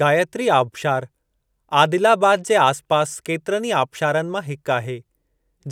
गायत्री आबशारु, आदिलाबाद जे आस पास केतिरनि ई आबशारनि मां हिकु आहे,